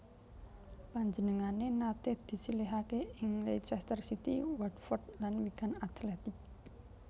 Panjenengané naté disilihaké ing Leicester City Watford lan Wigan Athletic